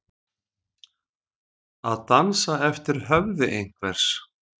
Að dansa eftir höfði einhvers